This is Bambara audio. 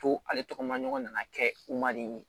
Ko ale tɔgɔ maɲɔgɔn nana kɛ u ma de